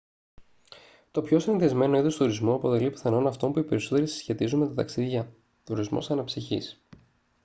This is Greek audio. το πιο συνηθισμένο είδος τουρισμού αποτελεί πιθανόν αυτό που οι περισσότεροι συσχετίζουν με τα ταξίδια τουρισμός αναψυχής